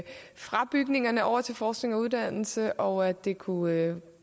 fra bygningerne over til forskning og uddannelse og at det kunne